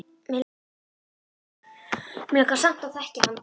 Mig langar samt að þekkja hann